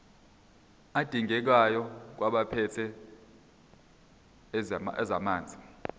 adingekayo kwabaphethe ezamanzi